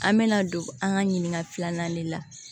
An mɛna don an ka ɲinika filanan de la